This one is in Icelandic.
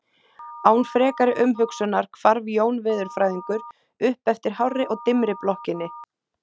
Án frekari umhugsunar hvarf Jón veðurfræðingur upp eftir hárri og dimmri blokkinni.